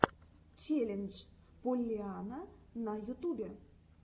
челлендж поллианна на ютубе